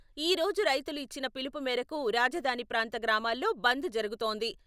ఈ రోజు రైతులు ఇచ్చిన పిలుపు మేరకు రాజధాని ప్రాంత గ్రామాల్లో బంద్ జరుగుతోంది.